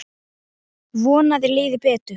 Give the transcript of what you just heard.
Vona að þér líði betur.